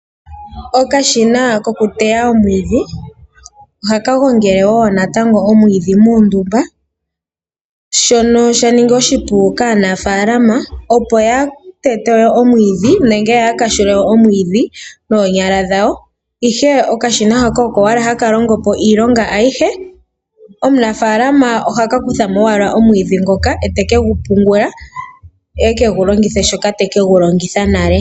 Okashina kokuteya omwiidhi ohaka gongele woo natango omwiidhi muundumba shono sha ningi oshipu kaanafaalama, opo kaaya tete omwiidhi noonyala dhawo, ihe okashina haka oko owala haka longo po iilonga ayihe. Omunafaalama oha ka kutha mo owala omwiidhi ngoka ete ke gu pungula ye ekegu longithe shoka teke gu longitha nale.